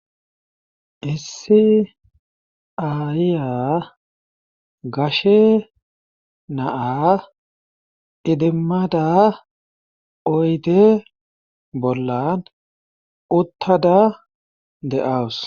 issi ayiya gashe naa idimmada oyte bollan uttada de7awus